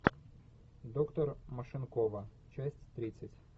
доктор машинкова часть тридцать